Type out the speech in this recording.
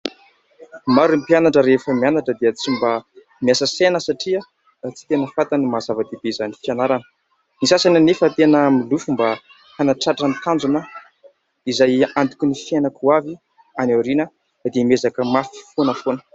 Maro ny mpianatra rehefa mianatra dia tsy mba miasa saina satria tsy tena fantany ny maha zava-dehibe izany fianarana ; ny sasany anefa tena milofo mba hanatratra ny tanjona izay antoky ny fiainan-koavy any aoriana dia miezaka mafy foana foana.